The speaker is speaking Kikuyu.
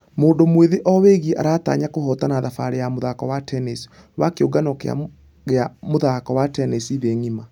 Mũndũ mwĩthĩ owegi aratanya kũhotana thabarĩ ya mũthako wa tennis wa kĩũngano gĩa mũthako wa tennis thĩ ngima.